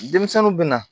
Denmisɛnninw bɛna